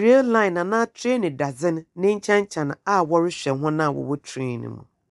rail line anaa train dadze no nekyɛnkyɛn a wɔrehyɛ hɔn a ɔwɔ train no mu.